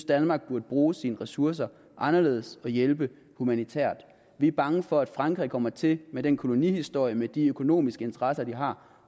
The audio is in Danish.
danmark burde bruge sine ressourcer anderledes og hjælpe humanitært vi er bange for at frankrig kommer til med den kolonihistorie med de økonomiske interesser de har